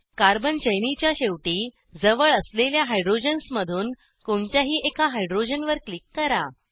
carbon चैनीच्या शेवटी जवळ असलेल्या हायड्रोजन्समधून कोणत्याही एका हायड्रोजनवर क्लिक करा